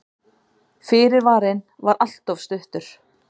Fyrirvarinn var alltof stuttur.